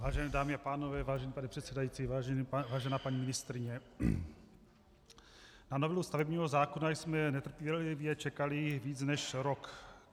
Vážené dámy a pánové, vážený pane předsedající, vážená paní ministryně, na novelu stavebního zákona jsme netrpělivě čekali víc než rok.